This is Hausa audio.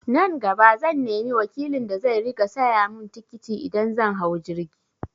Nan gaba zan nemi wakilin da zai riƙa saya mun tikiti idan zan hau jirgi